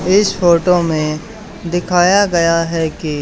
इस फोटो में दिखाया गया है कि--